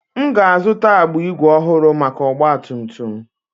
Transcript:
M ga-azụta agbụ ígwè ọhụrụ maka ọgba tum tum m.